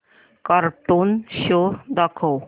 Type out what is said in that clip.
cartoon show दाखव